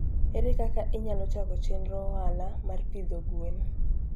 Ere kaka inyalo chako chenro ohala mar pidho gwen?